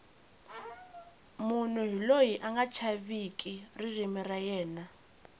munhu hi loyi anga chaveki ririmi ra yena